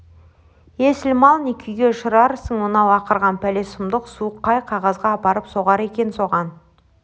есіл мал не күйге ұшырарсың мынау ақырған пәле сұмдық суық қай қазаға апарып соғар екен соған